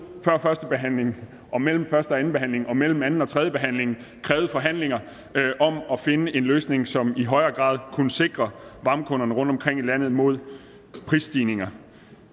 før første behandling og mellem første og anden behandling og mellem anden og tredje behandling krævet forhandlinger om at finde en løsning som i højere grad kunne sikre varmekunderne rundtomkring i landet mod prisstigninger